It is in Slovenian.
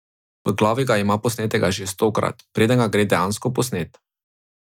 V glavi ga ima posnetega že stokrat, preden ga gre dejansko posnet.